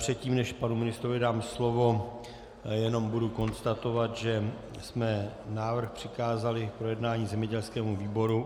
Předtím, než panu ministrovi dám slovo, jenom budu konstatovat, že jsme návrh přikázali k projednání zemědělskému výboru.